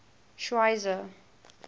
schweizer